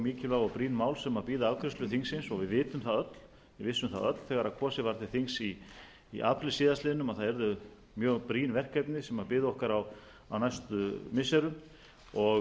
mikilvæg og brýn mál sem bíða afgreiðslu þingsins og við vissum það öll þegar kosið var til þings í apríl síðastliðinn að það yrðu mjög brýn verkefni sem biðu okkar á næstu missirum og